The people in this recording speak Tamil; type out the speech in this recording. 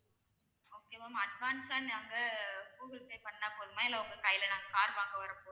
okay ma'am advance ஆ நாங்க கூகுள் பே பண்ணா போதுமா இல்ல உங்க கைல நாங்க car வாங்க வரும்போது